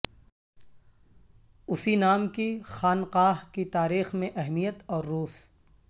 اسی نام کی خانقاہ کی تاریخ میں اہمیت اور روس